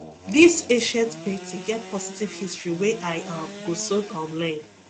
this ancient painting get positive history wey i um go soon um learn